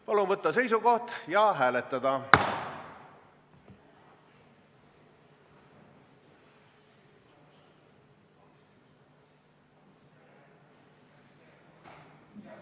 Palun võtta seisukoht ja hääletada!